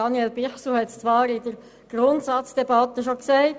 Daniel Bichsel hat es anlässlich der Grundsatzdebatte schon gesagt: